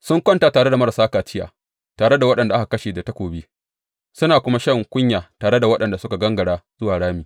Sun kwanta tare da marasa kaciya tare da waɗanda aka kashe da takobi suna kuma shan kunya tare da waɗanda suka gangara zuwa rami.